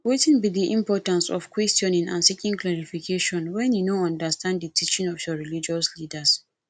wetin be di importance of questioning and seeking clarification when you no understand di teaching of your religious leaders